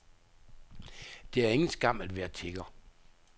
Det er ingen skam at være tigger.